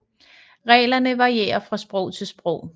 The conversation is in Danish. Reglerne varierer fra sprog til sprog